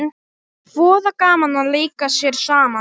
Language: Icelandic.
Voða gaman að leika sér saman